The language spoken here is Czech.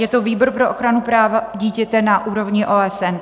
Je to výbor pro ochranu práva dítěte na úrovni OSN.